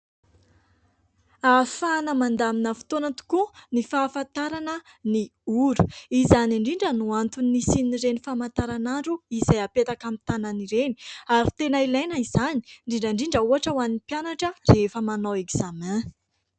Ahafahana mandamina fotoana tokoa ny fahafantarana ny ora. Izany indrindra no antony isian'ireny famantaranandro izay apetaka amin'ny tanana ireny, ary tena ilaina izany, indrindra indrindra ohatra ho an'ny mpianatra rehefa manao ekzamay.